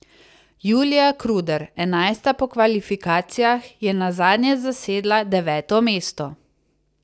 Julija Kruder, enajsta po kvalifikacijah, je nazadnje zasedla deveto mesto.